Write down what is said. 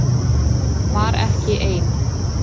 Var ekki ein